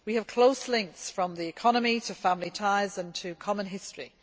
We have close links from the economy to family ties and our common history.